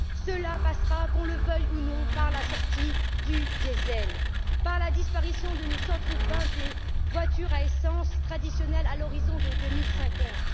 Cela passera, qu'on le veuille ou non, par la sortie du diesel, par la disparition de nos centres urbains des voitures à essence traditionnelles à l'horizon 2050.